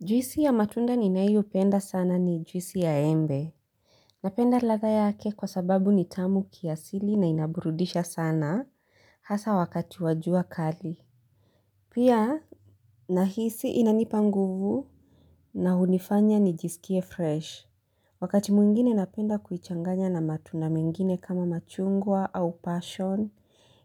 Juisi ya matunda ninayopenda sana ni juisi ya embe. Napenda ladha yake kwa sababu ni tamu kiasili na inaburudisha sana hasa wakati wa jua kali. Pia, nahisi inanipa nguvu na hunifanya nijisikie fresh. Wakati mwingine napenda kuichanganya na matunda mengine kama machungwa au passion